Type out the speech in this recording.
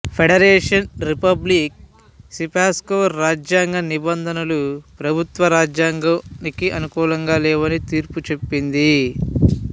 federation republic సిపెస్కా రాజ్యాంగ నిబంధనలు ప్రభుత్వ రాజ్యాంగానికి అనుకూలంగా లేవని తీర్పు చెప్పింది